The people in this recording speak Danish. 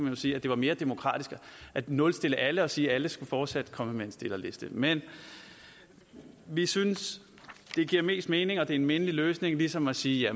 jo sige at det var mere demokratisk at nulstille alle og sige at alle fortsat skulle komme med en stillerliste men vi synes det giver mest mening og er en mindelig løsning ligesom at sige at